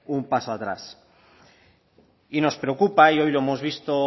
atrás y nos preocupa y hoy lo hemos visto